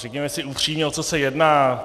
Řekněme si upřímně, o co se jedná.